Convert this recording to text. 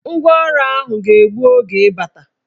Ngwaọrụ ahụ ga-egbu oge ịbata.